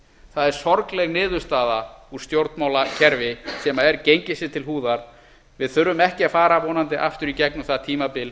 það er sorgleg niðurstaða úr stjórnmálakerfi sem er gengið sér til húðar við þurfum ekki að fara vonandi aftur í gegnum það tímabil